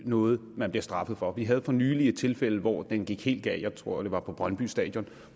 noget man bliver straffet for vi havde for nylig et tilfælde hvor det gik helt galt jeg tror det var på brøndby stadion